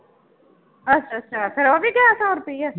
ਅੱਛਾ ਅੱਛਾ ਫਿਰ ਉਹ ਵੀ ਗਿਆ ਸੌ ਰੁਪਇਆ?